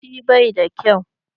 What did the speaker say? Rikici bai da kyau.